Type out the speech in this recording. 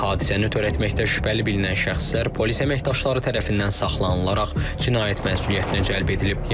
Hadisəni törətməkdə şübhəli bilinən şəxslər polis əməkdaşları tərəfindən saxlanılaraq cinayət məsuliyyətinə cəlb edilib.